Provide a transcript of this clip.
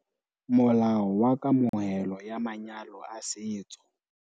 Molao wa Kamohelo ya Manyalo a Setso